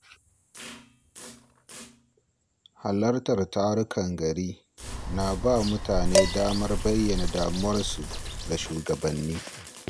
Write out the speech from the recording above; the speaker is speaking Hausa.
Halartar tarukan gari na ba mutane damar bayyana damuwarsu ga shugabanni.